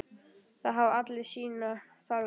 Það hafa allir sínar þarfir.